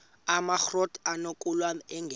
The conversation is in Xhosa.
amakrot anokulamla ingeka